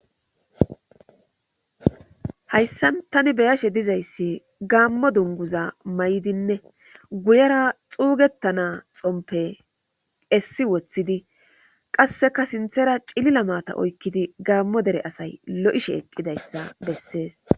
Hayssan tani beyashe dizayssi gaammo dunguza mayidine guyera xuugettana xompe essi woththidi qasseka sinthera cilila maata oykkidi gaammo dere asay lo'ishe eqqida issa bessees.